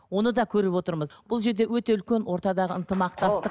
оны да көріп отырмыз бұл жерде өте үлкен ортадағы ынтымақтастық